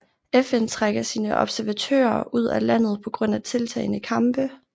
FN trækker sine observatører ud af landet på grund af tiltagende kampe